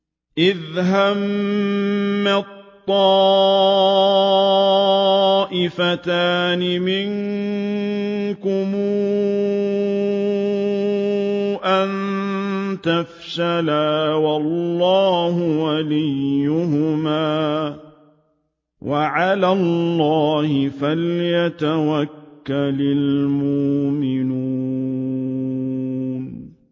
إِذْ هَمَّت طَّائِفَتَانِ مِنكُمْ أَن تَفْشَلَا وَاللَّهُ وَلِيُّهُمَا ۗ وَعَلَى اللَّهِ فَلْيَتَوَكَّلِ الْمُؤْمِنُونَ